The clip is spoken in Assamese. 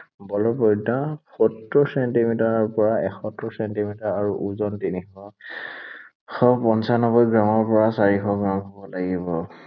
বলৰ পৰিধি সত্তৰ ছেণ্টিমিটাৰৰ পৰা এসত্তৰ ছেণ্টিমিটাৰ আৰু ওজন তিনিশ, তিনিশ পঞ্চানব্বৈ গ্ৰামৰ পৰা চাৰিশ গ্ৰাম হʼব লাগিব।